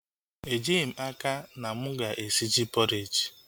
Ejighị m n'aka, mana mụ ga-esi ji pọreji